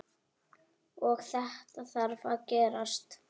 Og þetta þarf að gerast.